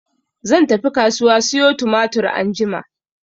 Zan tafi kasuwa siyo tumatir anjima.